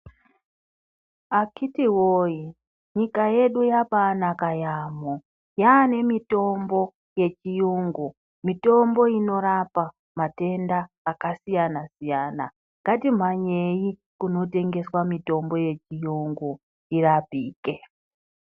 Akiti woye, nyika yedu yabaanaka yaamho. Yaanemitombo yechiyungu. Mitombo inorapa matenda akasiyana-siyana. Ngatimhanyei kunotengeswa mitombo yechiyungu tirapike.